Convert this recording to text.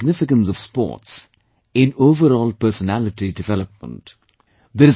There is a great significance of sports in overall personality development